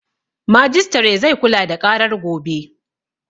Majistare zai kula da ƙarar gobe